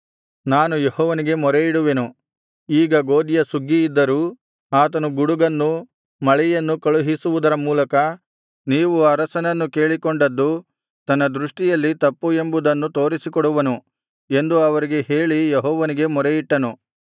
ನಾನು ಯೆಹೋವನಿಗೆ ಮೊರೆಯಿಡುವೆನು ಈಗ ಗೋದಿಯ ಸುಗ್ಗಿಯಿದ್ದರೂ ಆತನು ಗುಡುಗನ್ನೂ ಮಳೆಯನ್ನೂ ಕಳುಹಿಸುವುದರ ಮೂಲಕ ನೀವು ಅರಸನನ್ನು ಕೇಳಿಕೊಂಡದ್ದು ತನ್ನ ದೃಷ್ಟಿಯಲ್ಲಿ ತಪ್ಪು ಎಂಬುದನ್ನು ತೋರಿಸಿಕೊಡುವನು ಎಂದು ಅವರಿಗೆ ಹೇಳಿ ಯೆಹೋವನಿಗೆ ಮೊರೆಯಿಟ್ಟನು